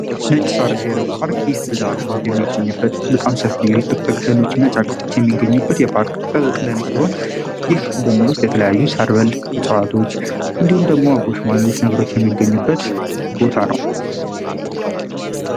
ነጭ ሳር ብሔራዊ ፓርክ ይህ ብዝሀ ህይወት የሚገኝበት በጣም ሰፊ ጥቅጥቅ ደኖች እና ጫካዎች የሚገኙበት ጥቅጥቅ ደን ሲሆን፤ ይህ ደግሞ ውስጥ የተለያዩ ሣር በል እፅዋቶች እንዲሁም ደግሞ፤ አቦ ሸማኔዎች ነብሮች የሚገኙበት ቦታ ነው።